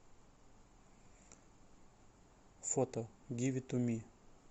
фото гиви ту ми